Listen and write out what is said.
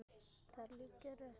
Þar liggja rætur okkar.